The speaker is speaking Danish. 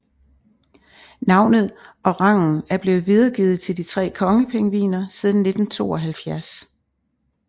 Navnet og rangen er blevet videregivet til tre kongepingviner siden 1972